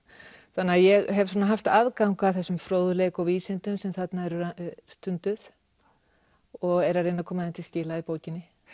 þannig að ég hef haft aðgang að þessum fróðleik og vísindum sem þarna eru stunduð og er að reyna að koma þeim til skila í bókinni